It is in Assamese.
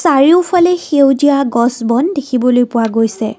চাৰিওফালে সেউজীয়া গছ বন দেখিবলৈ পোৱা গৈছে।